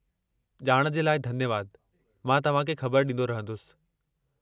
ॼाण जे लाइ धन्यवादु, मां तव्हांखे ख़बर ॾींदो रहंदुसि।